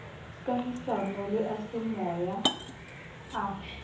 kahisano le a semoya a